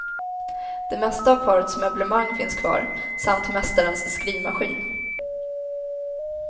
Det mesta av parets möblemang finns kvar, samt mästarens skrivmaskin.